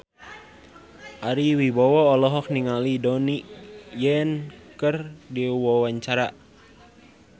Ari Wibowo olohok ningali Donnie Yan keur diwawancara